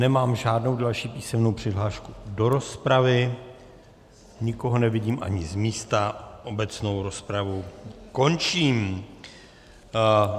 Nemám žádnou další písemnou přihlášku do rozpravy, nikoho nevidím ani z místa, obecnou rozpravu končím.